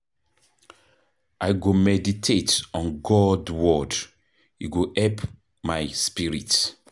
I go meditate on God word, e go help my spirit.